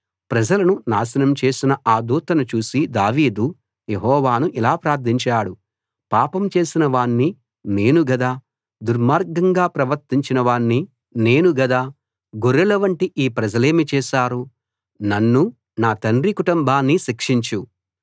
ప్రజలను నాశనం చేసిన ఆ దూతను చూసి దావీదు యెహోవాను ఇలా ప్రార్థించాడు పాపం చేసిన వాణ్ని నేను గదా దుర్మార్గంగా ప్రవర్తించిన వాణ్ని నేను గదా గొర్రెలవంటి ఈ ప్రజలేమి చేసారు నన్నూ నా తండ్రి కుటుంబాన్నీ శిక్షించు